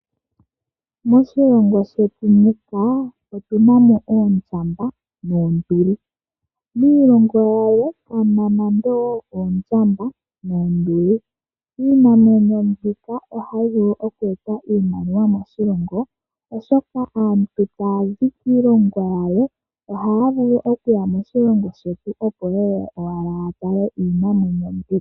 Moshilongo shetu muka otu na mo oondjamba noonduli. Miilongo yimwe kamu na nando odho oondjamba noonduli. Iinamwenyo mbika ohayi vulu okueta iimaliwa moshilongo, oshoka aantu sho taya zi kiilongo yawo ohaya vulu okuya moshilongo shetu opo ye ye ya tale owala iinamwenyo mbika.